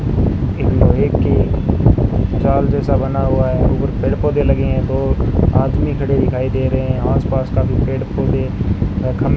एक लोहे की जाल जैसा बना हुआ है और पेड़ पौधे लगे हैं दो आदमी खड़े हैं दिखाई दे रहे हैं आसपास काफी पेड़ पौधे और खंभ --